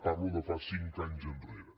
parlo de fa cinc anys enrere